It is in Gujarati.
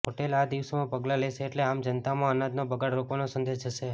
હોટેલો આ દિશામાં પગલાં લેશે એટલે આમ જનતામાં અનાજનો બગાડ રોકવાનો સંદેશ જશે